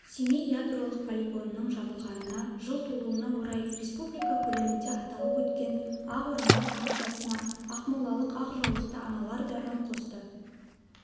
семей ядролық полигонының жабылғанына жыл толуына орай республика көлемінде аталып өткен ақ орамал акциясына ақмолалық ақ жаулықты аналар да үн қосты